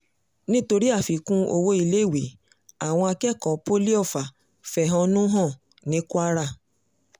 nítorí àfikún owó iléèwé àwọn akẹ́kọ̀ọ́ poli ọfà fẹ̀hónú hàn ní kwara